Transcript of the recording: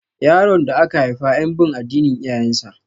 Yaron da aka haifa yan bin addinin iyayen sa